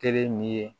Kelen ni ye